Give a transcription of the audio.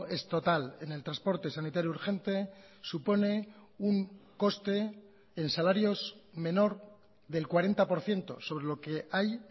es total en el transporte sanitario urgente supone un coste en salarios menor del cuarenta por ciento sobre lo que hay